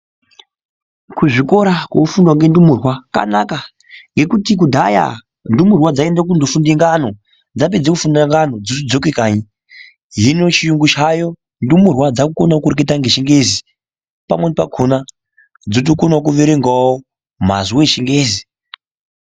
Kuzvikora kunofundwa ngendumurwa kwanaka ngekuti kudhaya ndumurwa dzaiende kofunde ngano dzapedze kufunde ngano dzotodzoke kanyi hino chiyungu chaayo ndumurwa dzakukonawo kureketa ngechingezi pamweni pakhona dzotokonawo kuerengawo mazwi echingezi.